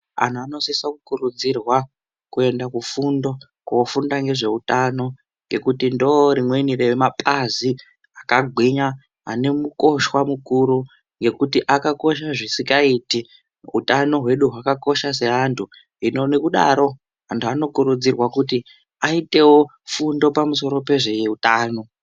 Anhu ano sisa ku kurudzirwa kuenda ku fundo ko funda nge zveutano ngekuti ndo rimweni re mapazi aka gwinya ane nukoshwa mukuru ngekuti aka kosha zvisingaiti utanho hwedu hwaka kosha se antu hino nekudaro antu anokurudzirwa kuti aiitewo fundo pamusoro pe zveutano.